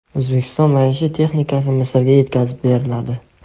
O‘zbekiston maishiy texnikasi Misrga yetkazib beriladi.